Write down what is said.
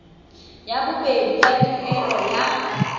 ya bobedi ya tuelo ya